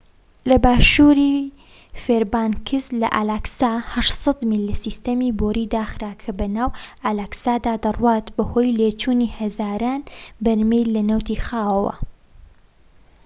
لە باشوری فێربانکس لە ئالاسکا، ٨٠٠ میل لە سیستەمی بۆریی داخرا کە بەناو ئالاسکادا دەڕوات بەهۆی لێچوونی هەزاران بەرمیل لە نەوتی خاوەوە